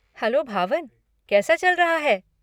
Hello Bhavan, कैसा चल रहा है?